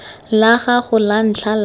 la gago la ntlha la